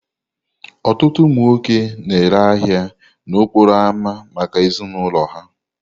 Ọtụtụ ụmụ nwoke na-ere ahia n'okporo ámá maka ezinụlọ ha.